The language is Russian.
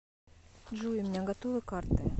джой у меня готовы карты